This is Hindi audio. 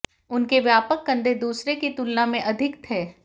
उनके व्यापक कंधे दूसरे की तुलना में अधिक थे